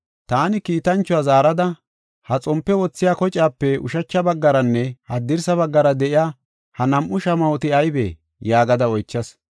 Taani kiitanchuwa zaarada, “Ha xompe wothiya kocaape ushacha baggaranne haddirsa baggara de7iya ha nam7u shamahoti aybee?” yaagada oychas.